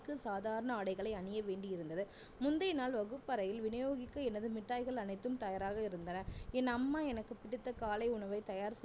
சாதாரண ஆடைகளை அணிய வேண்டி இருந்தது முந்தைய நாள் வகுப்பறையில் விநியோகிக்க எனது மிட்டாய்கள் அனைத்தும் தயாராக இருந்தன என் அம்மா எனக்கு பிடித்த காலை உணவை தயார்